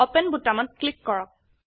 open বোতামত click কৰক